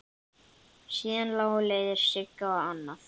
Síðar lágu leiðir Sigga annað.